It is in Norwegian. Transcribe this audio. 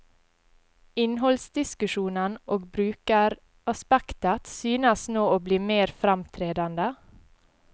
Innholdsdiskusjonen og brukeraspektet synes nå å bli mer fremtredende.